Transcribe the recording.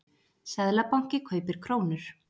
Seðlabanki kaupir krónur